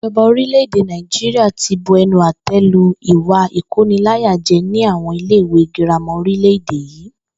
Ìjo̩ba orílè̩-èdè Nàìjíríà ti bu e̩nu àté̩ lu ìwà ìkóniláyáje̩ ní àwo̩n ilé ìwé girama orílè̩-èdè yìí